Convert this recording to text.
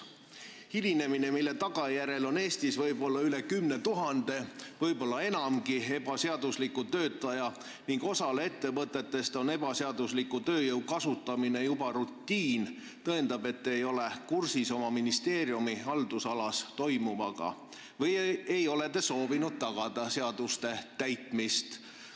See hilinemine, mille tagajärjel on Eestis üle 10 000 – võib-olla enamgi – ebaseadusliku töötaja ning osale ettevõtetest on ebaseadusliku tööjõu kasutamine juba rutiin, tõendab, et te ei ole kursis oma ministeeriumi haldusalas toimuvaga või ei ole soovinud tagada seaduste täitmist.